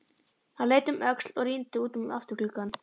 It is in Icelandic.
Hann leit um öxl og rýndi út um afturgluggann.